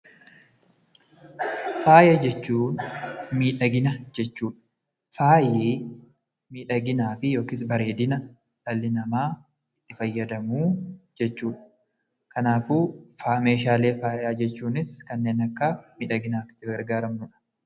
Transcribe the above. Faaya jechuun miidhagina jechuu dha. Faayi miidhaginaafi (bareedina) dhalli namaa itti fayyadamu jechuu dha. Kanaafuu, meeshaalee faayaa jechuunis kan akka miidhaginaaf itti gargaaramnu dha.